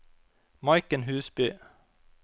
Maiken Husby